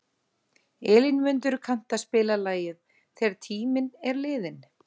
Elínmundur, kanntu að spila lagið „Þegar tíminn er liðinn“?